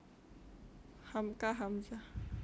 Hamka Hamzah